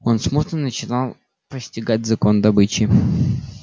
он смутно начинал постигать закон добычи